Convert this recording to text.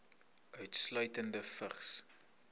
insluitende vigs